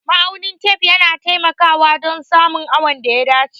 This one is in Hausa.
Ma'aunin tef yana taimakawa dan samun awon da ya dace